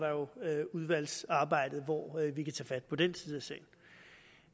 udvalgsarbejdet jo hvor vi kan tage fat på den side af sagen